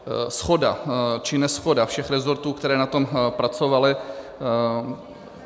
Shoda či neshoda všech resortů, které na tom pracovaly.